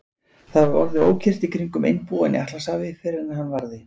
Það var orðið ókyrrt í kringum einbúann í Atlantshafi, fyrr en hann varði.